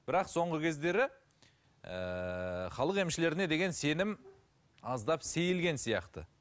бірақ соңғы кездері ыыы халық емшілеріне деген сенім аздап сейілген сияқты